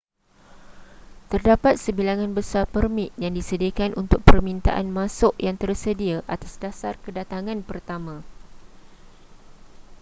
terdapat sebilangan besar permit yang disediakan untuk permintaan masuk yang tersedia atas dasar kedatangan pertama